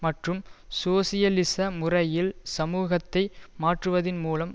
மற்றும் சோசியலிச முறையில் சமூகத்தை மாற்றுவதின் மூலம்